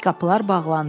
Qapılar bağlandı.